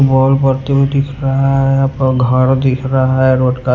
ball बढ़ते हुए दिख रहा है पर घर दिख रहा है रोड का--